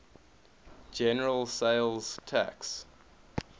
general sales tax